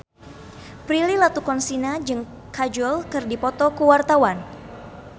Prilly Latuconsina jeung Kajol keur dipoto ku wartawan